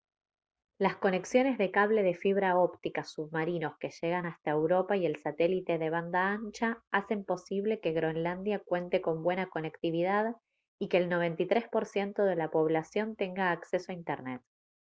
las conexiones de cable de fibra óptica submarinos que llegan hasta europa y el satélite de banda ancha hacen posible que groenlandia cuente con buena conectividad y que el 93% de la población tenga acceso a internet